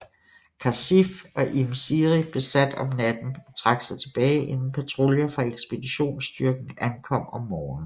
Khasif og Im Siri besat om natten og trak sig tilbage inden patruljer fra ekspeditionsstyrken ankom om morgenen